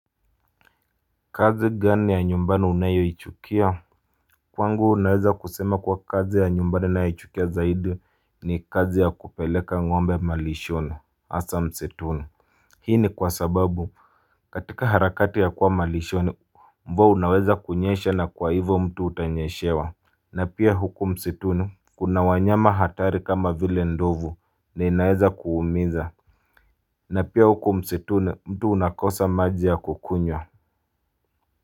Kazi gani ya nyumbani unayoichukia? Kwangu naweza kusema kuwa kazi ya nyumbani ninayoichukia zaidi ni kazi ya kupeleka ng'ombe malishoni hasa msituni Hii ni kwa sababu, katika harakati ya kuwa malishoni mvua unaweza kunyesha na kwa hivyo mtu utanyeshewa na pia huku msituni, kuna wanyama hatari kama vile ndovu na inaweza kuumiza na pia huko msituni mtu unakosa maji ya kukunywa.